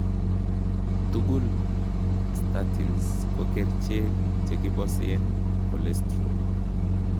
Tugul:statins ko kercheek chekiboseen cholsterol